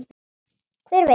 Hver veit.